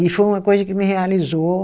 E foi uma coisa que me realizou.